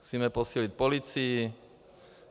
Musíme posílit policii.